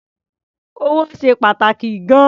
Owó ṣe pàtàkì gan-an.